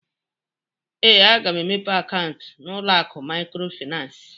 Ee, aga m emepe akaụntụ n'ụlọ akụ Maịkrofịnansị.